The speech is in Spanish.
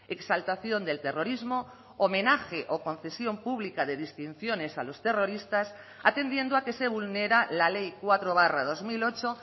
exaltación del terrorismo homenaje o concesión pública de distinciones a los terroristas atendiendo a que se vulnera la ley cuatro barra dos mil ocho